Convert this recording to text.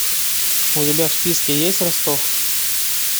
у тебя в списке есть ростов